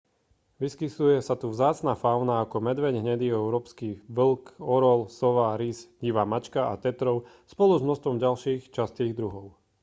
vyskytuje sa tu vzácna fauna ako medveď hnedý európsky vlk orol sova rys divá mačka a tetrov spolu s množstvom ďalších častých druhov